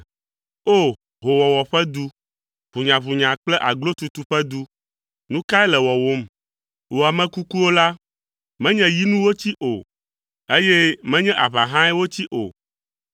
O! Hoowɔwɔ ƒe du, ʋunyaʋunya kple aglotutu ƒe du, nu kae le wɔwòm? Wò ame kukuwo la, menye yi nu wotsi o, eye menye aʋa hãe wotsi o.